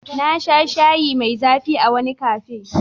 Na sha shayi mai zafi ☕️ a wani cafe.